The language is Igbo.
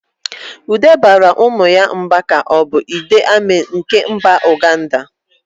Ude baara ụmụ ya mba ka ọ bụ Idi Amin nke mba Uganda.